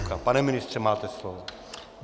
Pane ministře, máte slovo.